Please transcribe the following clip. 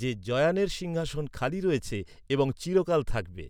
যে "জয়ানের সিংহাসন খালি রয়েছে এবং চিরকাল থাকবে।"